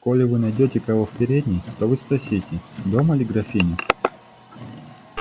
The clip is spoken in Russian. коли вы найдёте кого в передней то вы спросите дома ли графиня